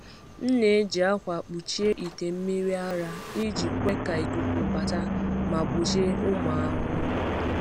M na-eji akwa kpuchie ite mmiri ara iji kwe ka ikuku bata ma gbochie ụmụ ahụhụ.